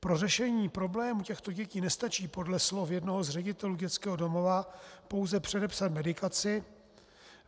Pro řešení problémů těchto dětí nestačí podle slov jednoho z ředitelů dětského domova pouze předepsat medikaci.